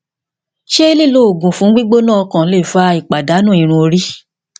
ṣe lilo oogun fun gbigbona okan le fa ipadanu irun ori